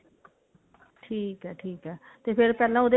ਠੀਕ ਹੈ ਠੀਕ ਹੈ ਤੇ ਫ਼ੇਰ ਪਹਿਲਾਂ ਉਹਦੇ